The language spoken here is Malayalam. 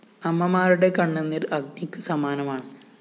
അമ്മമാരുടെ കണ്ണുനീര്‍ അഗ്നിക്ക് സമാനമാണ്